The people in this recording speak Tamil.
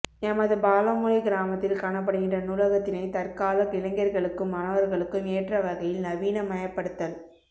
எமது பாலமுனை கிராமத்தில் காணப்படுகின்ற நூலகத்தினை தற்கால இளைஞர்களுக்கும் மாணவர்களுக்கும் ஏற்ற வகையில் நவீன மயப்படுத்தல்